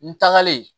N tagalen